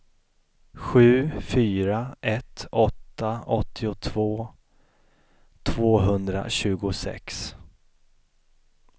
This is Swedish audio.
sju fyra ett åtta åttiotvå tvåhundratjugosex